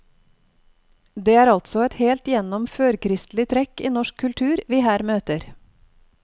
Det er altså et helt igjennom førkristelig trekk i norsk kultur vi her møter.